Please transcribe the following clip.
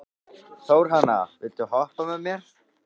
Þórhanna, viltu hoppa með mér?